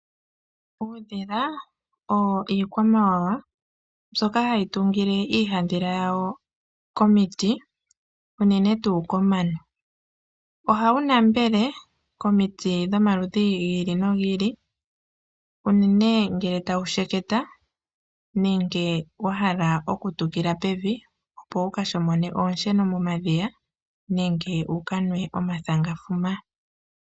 Uudhila owo iikwamawawa mbyoka hayi tungile iihandhila yawo komiti, unene tuu komano. Ohawu nambele komiti dhomaludhi gi ili nogi ili unene ngele tawu sheketa nenge wa hala okutukila pevi, opo wu ka shomone oonsheno momadhiya nenge wu ka nwe omathangafuma.